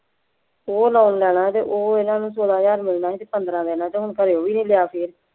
ਉਹ loan ਲੈਣਾ ਅਤੇ ਉਹ ਇਹਨਾ ਨੂੰ ਚੋਦਾਂ ਹਜ਼ਾਰ ਮਿਲਣਾ ਸੀ ਪੰਦਰਾ ਦਿਨਾਂ ਤੋਂ ਹੁਣ ਖਨੀ ਉਹ ਵੀ ਨਹੀ ਲਿਆ ਫੇਰ